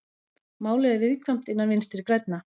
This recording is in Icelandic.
Málið er viðkvæmt innan Vinstri grænna